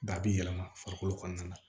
Ba bi yɛlɛma farikolo kɔnɔna na